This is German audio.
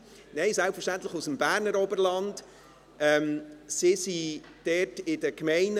– Nein, selbstverständlich ist es eine Gruppe aus dem Berner Oberland.